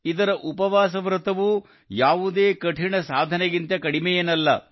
ಇದರ ಉಪವಾಸ ವ್ರತವೂ ಯಾವುದೇ ಕಠಿಣ ಸಾಧನೆಗಿಂತ ಕಡಿಮೆಯೇನಲ್ಲ